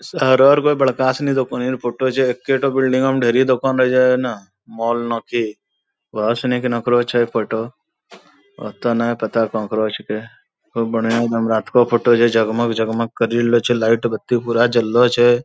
शहरो र वै बड़का सिनी दोकानि र फोटो छै एक्के ठो बिल्डिंगो म ढेरी दोकान रहै छै ना माॅल नकी वहा सिनी केन्हकरो छै फोटो ओत्ते नै पता कहाँकरो छेकै खूब बढ़ियाँ एगदम रातको फोटो छै जगमग-जगमग करि रहलो छै लाईट बत्ती पूरा जललो छै।